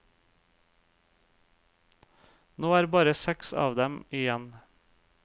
Nå er bare seks av dem igjen.